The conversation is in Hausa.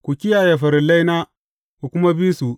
Ku kiyaye farillaina, ku kuma bi su.